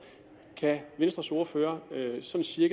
kan venstres ordfører så sige